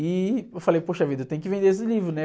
E eu falei, poxa vida, eu tenho que vender esse livro, né?